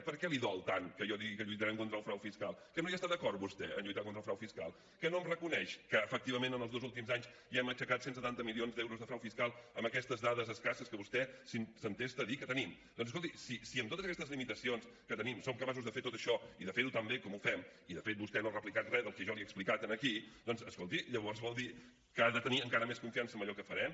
per què li dol tant que jo digui que lluitarem contra el frau fiscal que no hi està d’acord vostè en lluitar contra el frau fiscal que no em reconeix que efectivament en els dos últims anys ja hem aixecat cent i setanta milions d’euros de frau fiscal amb aquestes dades escasses que vostè s’entesta a dir que tenim doncs escolti si amb totes aquestes limitacions que tenim som capaços de fer tot això i de fer ho tan bé com ho fem i de fet vostè no ha replicat re del que jo li he explicat aquí doncs escolti llavors vol dir que ha de tenir encara més confiança amb allò que farem